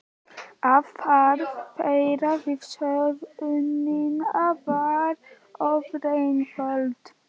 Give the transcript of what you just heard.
Aðferð þeirra við söfnunina var ofureinföld.